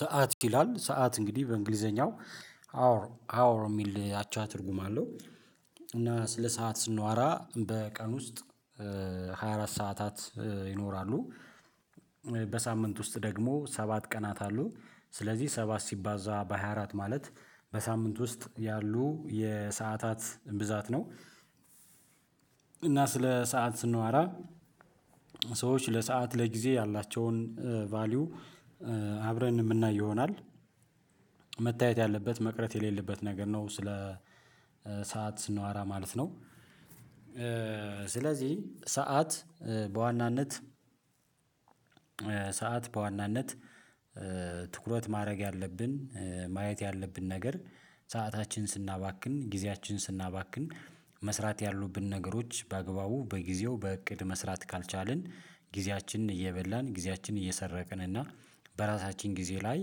ሰዓት ይላል ሰዓት እንግዲህ በእንግሊዘኛው ሃወር ሃወር የሚል አቻ ትርጉም አለው። እና ስለ ሰዓት ስናወራ በቀን ውስጥ ሃያ አራት ሰዓታት ይኖራሉ። በሳምንት ውስጥ ደግሞ ሰባት ቀናት አሉ። ስለዚህ ሰባት ሲባዛ በሃያ አራት ማለት በሳምንት ውስጥ ያሉ የሰዓታት ብዛት ነው። እና ስለ ሰዓት ስናወራ ሰዎች ለሰአት ለጊዜ ያላቸውን ቫልዩ አብረን የምናይ ይሆናል። መታየት ያለበት መቅረት የሌለበት ነገር ነው ስለ ሰዓት ስናወራ ማለት ነው። ስለዚህ ሰዓት በዋናነት ሰዓት በዋናነት ትኩረት ማድረግ ያለብን ማየት ያለብን ነገር ሰአታችንን ስናባክን ጊዜያችን ን ስናባክን መስራት ያሉብንን ነገሮች በአግባቡ በጊዜው በእቅድ መስራት ካልቻልን ጊዜያችንን እየበላን ጊዜያችንን እየሰረቅን እና በራሳችን ጊዜ ላይ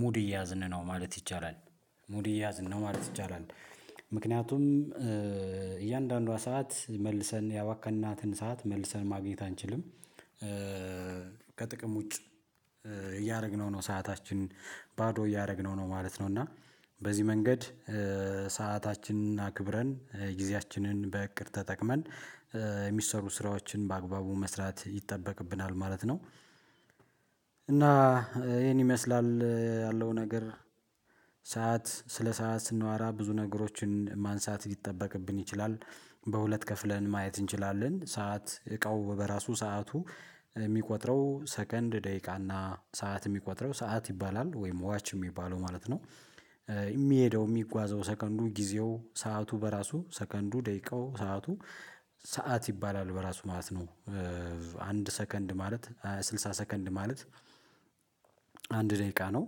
ሙድ እየያዝን ነው ማለት ይቻላል። ሙድ እየያዝን ነው ማለት ይቻላል። ምክንያቱም እያንዳንዷ ሰዓት መልሰን ያባከንናትን ሰዓት መልሰን ማግኘት አንችልም። ከጥቅም ውጭ እያደረግነው ነው ሰአታችንን ባዶ እያደረግነው ነው ማለት ነው። እና በዚህ መንገድ ሰአታችንን አክብረን ጊዜያችንን በእቅድ ተጠቅመን የሚሰሩ ስራዎችን በአግባቡ መስራት ይጠበቅብናል ማለት ነው። እና ይሄን ይመስላል ያለው ነገር ሰዓት ስለ ሰዓት ስናወራ ብዙ ነገሮችን ማንሳት ሊጠበቅብን ይችላል። በሁለት ከፍለን ማየት እንችላለን ሰዓት እቃው በራሱ ሰዓቱ የሚቆጥረው ሰከንድ ደቂቃና ሰዓት የሚቆጥረው ሰዓት ይባላል ወይም ዋች የሚባለው ማለት ነው። የሚሄደው የሚጓዘው ሰከንዱ ጊዜው ሰዓቱ በራሱ ሰከንዱ ደቂቃው ሰዓቱ ሰዓት ይባላል በራሱ ማለት ነው። አንድ ሰከንድ ማለት ስልሳ ሰከንድ ማለት አንድ ደቂቃ ነው።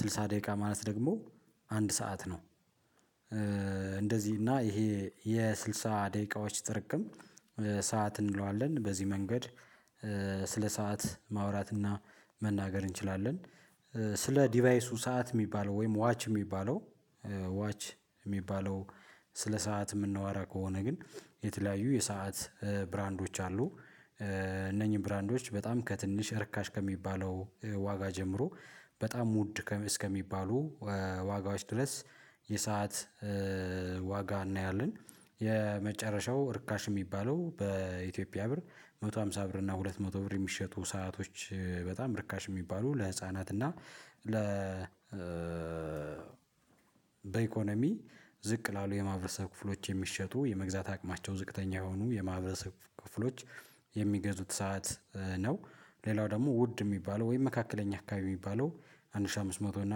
ስልሳ ደቂቃ ማለት ደግሞ አንድ ሰዓት ነው። እ እንደዚህ እና ይሄ የስድሳ ደቂቃዎች ጥርቅም ሰዓት እንለዋለን በዚህ መንገድ ስለ ሰዓት ማውራት እና መናገር እንችላለን። ስለ ዲቫይሱ ሰዓት የሚባለው ወይም ዋች የሚባለው ዋች የሚባለው ስለ ሰዓት የምናወራ ከሆነ ግን የተለያዩ የሰዓት ብራንዶች አሉ። እነኚህን ብራንዶች በጣም ከትንሽ እርካሽ ከሚባለው ዋጋ ጀምሮ በጣም ውድ እስከሚባሉ ዋጋዎች ድረስ የሰዓት ዋጋ እናያለን የመጨረሻው እርካሽ የሚባለው በኢትዮጵያ ብር አንድ መቶ አምሳ ብር እና ሁለት መቶ ብር የሚሸጡ ሰአቶች በጣም ርካሽ የሚባሉ ለህፃናት እና ለ በኢኮኖሚ ዝቅ ላሉ የማህረሰብ ክፍሎች የሚሸጡ የመግዛት አቅማቸው ዝቅተኛ የሆኑ የማህበረሰብ ክፍሎች የሚገዙት ሰዓት ነው። ሌላው ደግሞ ውድ የሚባለው ወይም መካከለኛ አካባቢ የሚባለው አንድ ሺህ አምስት መቶ እና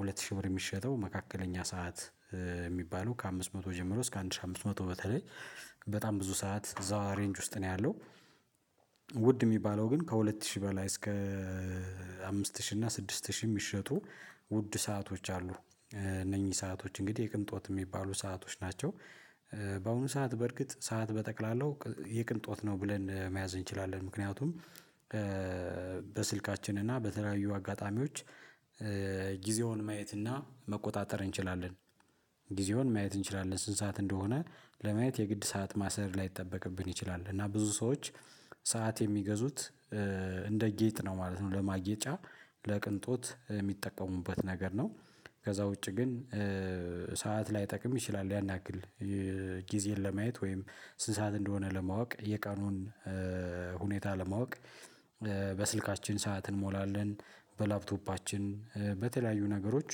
ሁለት ሺህ ብር የሚሸጠው መካከለኛ ሰዓት የሚባለው ከአምስት መቶ ጀምሮ እስከ አንድ ሺህ አምስት መቶ በተለይ በጣም ብዙ ሰዓት እዛ ሬንጅ ውስጥ ነው ያለው። ውድ የሚባለው ግን ከሁለት ሺህ በላይ እስከ አምስት ሺህ እና ስድስት ሺህ የሚሸጡ ውድ ሰአቶች አሉ። እነኚህ ሰአቶች እንግዲህ የቅንጦት የሚባሉ ሰአቶች ናቸው። በአሁኑ ሰዓት በእርግጥ ሰዓት በጠቅላላው የቅንጦት ነው ብለን መያዝ እንችላለን ምክንያቱም በስልካችን እና በተለያዩ አጋጣሚዎች ጊዜውን ማየት እና መቆጣጠር እንችላለን። ጊዜውን ማየት እንችላለን ስንት ሰዓት እንደሆነ ለማየት የግድ ሰዓት ማሰር ላይጠበቅብን ይችላል እና ብዙ ሰዎች ሰዓት የሚገዙት እንደ ጌጥ ነው ማለት ነው ለማጌጫ ለቅንጦት የሚጠቀሙበት ነገር ነው። ከዛ ውጪ ግን ሰዓት ላይጠቅም ይችላል ያንያክል ጊዜን ለማየት ወይም ስንት ሰዓት እንደሆነ ለማወቅ የቀኑን ሁኔታ ለማወቅ በስልካችን ሰዓት እንሞላለን። በላፕቶፓችን በተለያዩ ነገሮች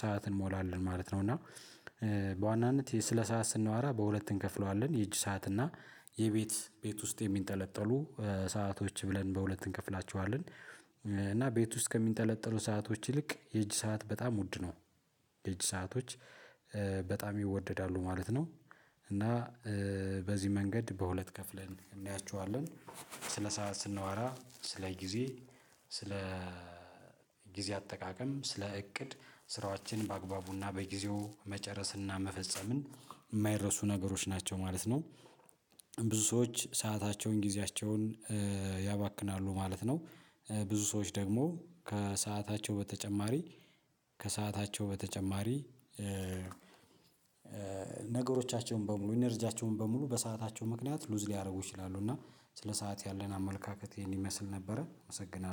ሰዓት እንሞላለን ማለት ነው። እና በዋናነት ስለ ሰዓት ስናወራ በሁለት እንከፍለዋለን የእጅ ሰዓት እና የቤት ቤት ውስጥ የሚንጠለጠሉ ሰአቶች ብለን በሁለት እንከፍላቸዋለን። እና ቤት ውስጥ ከሚንጠለጠሉ ሰአቶች ይልቅ የእጅ ሰዓት በጣም ውድ ነው። የእጅ ሰአቶች በጣም ይወደዳሉ ማለት ነው። እና በዚህ መንገድ በሁለት ከፍለን እናያችኋለን። ስለ ሰዓት ስናወራ ስለ ጊዜ ስለ ጊዜ አጠቃቀም ስለ እቅድ ስራዎችን በአግባቡና በጊዜው መጨረስና መፈጸምን የማይረሱ ነገሮች ናቸው ማለት ነው። ብዙ ሰዎች ሰአታቸውን ጊዜያቸውን ያባክናሉ ማለት ነው። ብዙ ሰዎች ደግሞ ከሰአታቸው በተጨማሪ ከሰአታቸው በተጨማሪ ነገሮቻቸውን በሙሉ ኢነርጂያቸውን በሙሉ በሰአታቸው ምክንያት ሉዝ ሊያደርጉ ይችላሉ እና ስለ ሰዓት ያለን አመለካከት ይሄን ይመስል ነበረ። አመሰግናለሁ